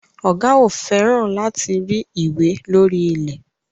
Ọ̀gá ò fẹ́ràn láti rí ìwé lórí ilẹ̀.